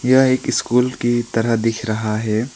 यह एक स्कूल की तरह दिख रहा है।